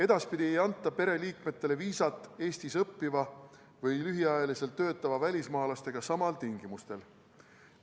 Edaspidi ei anta pereliikmetele viisat Eestis õppiva või lühiajaliselt töötava välismaalasega samadel tingimustel.